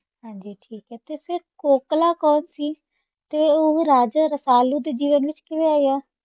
ਹਾਂਜੀ ਠੀਕ ਹੈ ਤੇ ਫਿਰ ਕੋਕਲਾ ਕੋਣ ਸੀ ਤੇ ਉਹ ਰਾਜਾ ਰਸਾਲੂ ਦੇ ਜੀਵਨ ਵਿੱਚ ਕਿਵੇਂ ਆਈ ਹਾਂ?